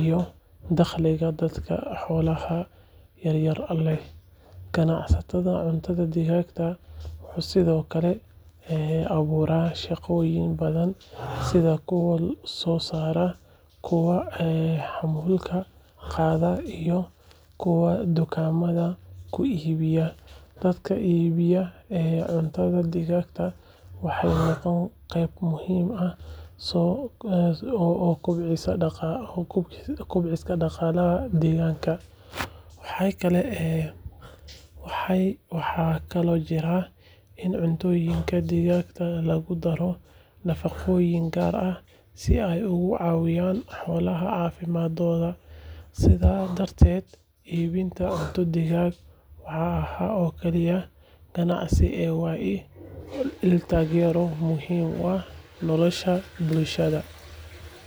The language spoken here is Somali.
iyo dakhliga dadka xoolaha yaryar leh. Ganacsiga cuntada digaagga wuxuu sidoo kale abuuraa shaqooyin badan sida kuwa soo saara, kuwa xamuulka qaada iyo kuwa dukaamada ku iibiya. Dadka iibinaya cuntada digaagga waxay noqdaan qayb muhiim ah oo kobcisa dhaqaalaha deegaanka. Waxaa kaloo jirta in cuntooyinka digaagga lagu daro nafaqooyin gaar ah si ay uga caawiyaan xoolaha caafimaadkooda. Sidaas darteed, iibinta cunto digaag ma aha oo kaliya ganacsi ee waa il taageero oo muhiim u ah nolosha bulshada.